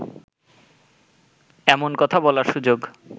এমন কথা বলার সুযোগ